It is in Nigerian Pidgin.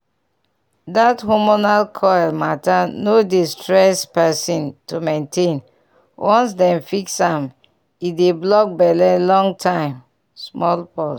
that hormonal coil matter no dey stress person to maintain once dem fix am e dey block belle long time small pause.